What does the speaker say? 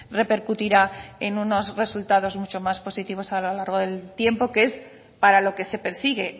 repercutirá en unos resultados mucho más positivos a lo largo del tiempo que es para lo que se persigue